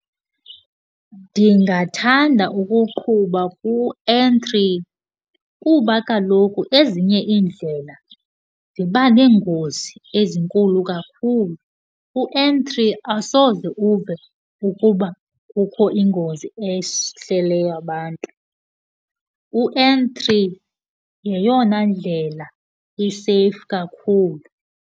Ndingathanda ukuqhuba ku-N three kuba kaloku ezinye iindlela ziba nengozi ezinkulu kakhulu. U-N three asoze uve ukuba kukho ingozi ehleleyo abantu. u-N three yeyona ndlela iseyifu kakhulu.